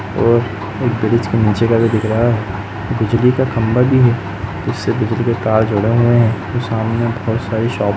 और एक ब्रिज के नीचे का भी दिख रहा है। बिजली का खम्भा भी है। उससे बिजली के तार जुड़े हुए है और सामने बहोत सारी शॉप --